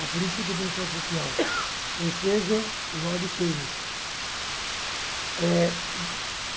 a política do bem-estar social, ou seja, o Lord Keynes.